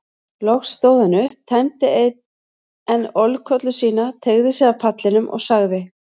Loks stóð hann upp, tæmdi enn ölkollu sína, tygjaði sig af pallinum og sagði